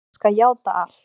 Ég skal játa allt.